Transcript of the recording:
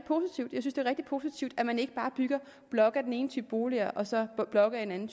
er rigtig positivt at man ikke bare bygger blokke af den ene type boliger og så blokke af en anden